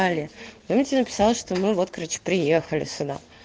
далее дутя написала что мы вот короче приехали сюда